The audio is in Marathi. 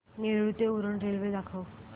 नेरूळ ते उरण रेल्वे दाखव